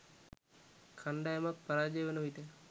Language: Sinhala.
කණ්ඩායමක් පරාජය වන විට